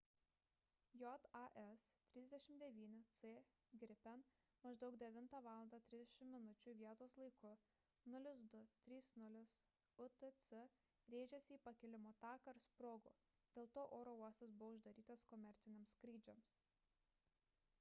jas 39c gripen maždaug 9:30 val. vietos laiku 0230 utc rėžėsi į pakilimo taką ir sprogo; dėl to oro uostas buvo uždarytas komerciniams skrydžiams